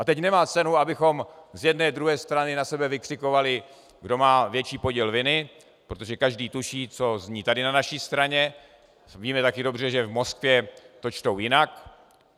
A teď nemá cenu, abychom z jedné, z druhé strany na sebe vykřikovali, kdo má větší podíl viny, protože každý tuší, co zní tady na naší straně, víme taky dobře, že v Moskvě to čtou jinak.